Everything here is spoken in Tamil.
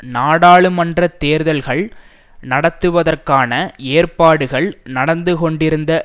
நாடாளுமன்ற தேர்தல்கள் நடத்துவதற்கான ஏற்பாடுகள் நடந்துகொண்டிருந்த